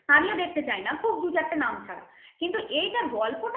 আমিও দেখতে চাই না খুব দু চারটে নাম ছাড়া কিনটি এইটার গল্প